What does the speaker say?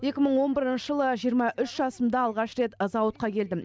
екі мың он бірінші жылы жиырма үш жасымда алғаш рет зауытқа келдім